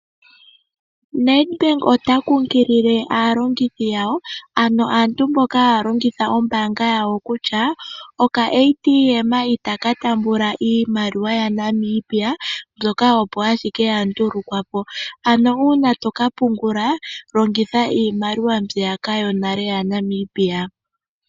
Nedbank ota kunkilile aalongithi yawo ano aantu mboka haya longitha ombanga yawo kutya oka ATM itaka tambula iimaliwa yaNamibia mbyoka opo ashike yandulukwa po, ano una toka pungula longitha iimaliwa mbiyaka yonale yaNamibia.